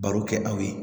Baro kɛ aw ye